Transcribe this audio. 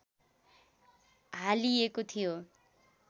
हालिएको थियो